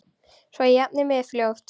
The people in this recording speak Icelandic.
Svo ég jafni mig fljótt.